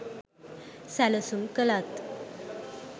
සැලසුම් කලත්